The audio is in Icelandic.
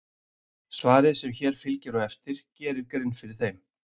svarið sem hér fylgir á eftir gerir grein fyrir þeim